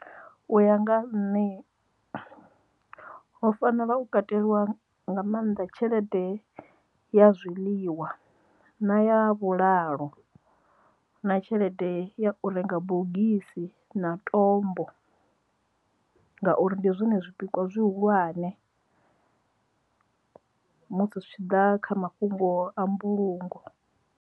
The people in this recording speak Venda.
U ya nga nṋe ho fanela u kateliwa nga maanḓa tshelede ya zwiḽiwa na ya vhulalo na tshelede ya u renga bogisi na tombo ngauri ndi zwone zwipikwa zwihulwane musi zwi tshi ḓa kha mafhungo a mbulungo.